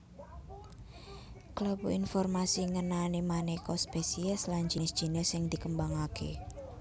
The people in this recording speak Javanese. Klebu informasi ngenani manéka spesies lan jinis jinis sing dikembangaké